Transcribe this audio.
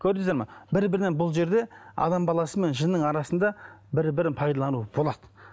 көрдіңіздер ме бір бірінен бұл жерде адам баласы мен жынның арасында бір бірін пайдалану болады